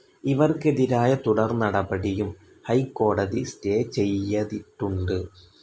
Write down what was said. ഇവർക്കെതിരായ തുടർ നടപടിയും ഹൈക്കോടതി സ്റ്റേ ചെയ്യതിട്ടുണ്ട്.